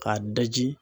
K'a daji